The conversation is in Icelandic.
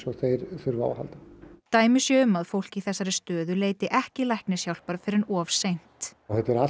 og þeir þurfa á að halda dæmi séu um að fólk í þessari stöðu leiti ekki læknishjálpar fyrr en of seint þetta er allt